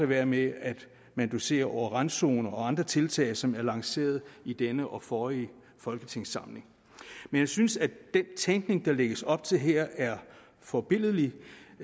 være med at manuducere over randzoner og andre tiltag som er lanceret i denne og forrige folketingssamling jeg synes at den tænkning der lægges op til her er forbilledlig